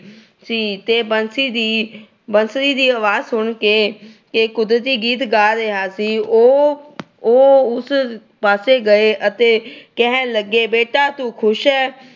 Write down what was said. ਸੀ ਤੇ ਬੰਸੀ ਦੀ ਅਹ ਬੰਸਰੀ ਦੀ ਆਵਾਜ ਸੁਣ ਕੇ ਗੀਤ ਗਾ ਰਿਹਾ ਸੀ। ਉਹ ਅਹ ਉਹ ਉਸ ਪਾਸੇ ਗਏ ਅਤੇ ਕਹਿਣ ਲੱਗੇ ਬੇਟਾ ਤੂੰ ਖੁਸ਼ ਆ।